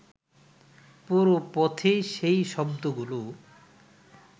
পুরো পথেই সেই শব্দগুলো